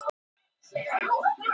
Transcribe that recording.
Gulli er eflaust í þeim hópi.